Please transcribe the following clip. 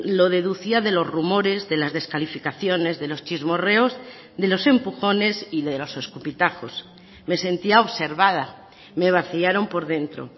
lo deducía de los rumores de las descalificaciones de los chismorreos de los empujones y de los escupitajos me sentía observada me vaciaron por dentro